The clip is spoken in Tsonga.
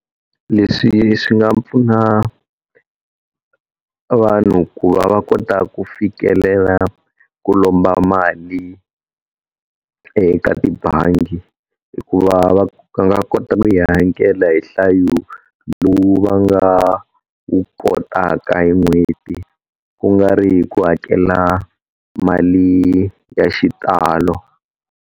Leswi swi nga pfuna vanhu ku va va kota ku fikelela ku lomba mali eka tibangi hikuva va va nga kota ku yi hakela hi nhlayo lowu va nga wu kotaka hi n'hweti ku nga ri hi ku hakela mali ya xitalo.